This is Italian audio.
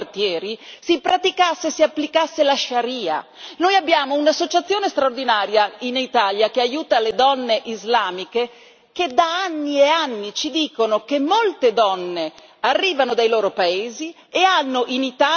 C'è un'associazione straordinaria in Italia che aiuta le donne islamiche, la quale da anni e anni ci dice che molte donne arrivano dai loro paesi e hanno in Italia una vita peggiore di quella che avrebbero avuto nel loro paese.